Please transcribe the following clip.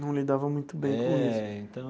Não lidava muito bem com isso. É então.